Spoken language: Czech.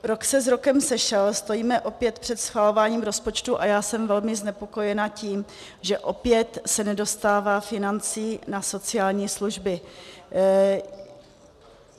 Rok se s rokem sešel, stojíme opět před schvalováním rozpočtu a já jsem velmi znepokojena tím, že opět se nedostává financí na sociální služby.